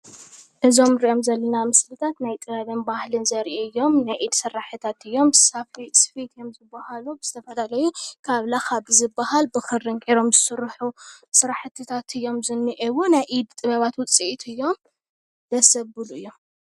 እዞም ንሪኦም ዘለና ምስልታት ናይ ጥበብን ባህሊን ዘርእዩ እዮም፡፡ ናይ ኢድ ስራሕትታት እዮም፡፡ ስፈ እዮም ዝበሃሉ ዝተፈላለዩ ካብ ላኻ ብዝበሃል ብኽሪ ገይሮም ዝስርሑ ስራሕትታት እዮም ዝንሄዉ፡፡ ናይ ኢድ ጥበባት ውፅኢት እዮም፡፡ ደስ ዘብሉ እዮም፡፡